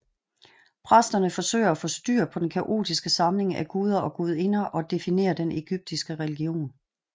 Præsterne forsøger at få styr på den kaotiske samling af guder og gudinder og definerer den egyptiske religion